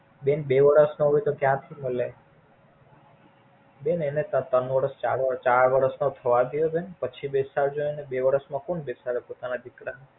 બેન બે વર્ષ નો હોય તો કયા થી મલે? બેન એને ત્રણ ચાર વર્ષ નો થવા દયો. બેન પછી બેસાડજો એને બે વર્ષ માં કોણ બેસાડે પોતાના દીકરા?